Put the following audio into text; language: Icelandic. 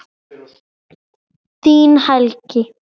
Þinn Helgi.